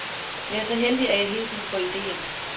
Jeg er så heldig, at jeg hele tiden får idéer.